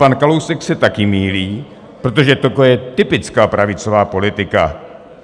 Pan Kalousek se také mýlí, protože toto je typická pravicová politika.